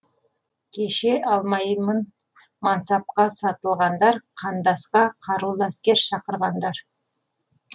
кеше алмаймын мансапқа сатылғандар қандасқа қарулы әскер шақырғандар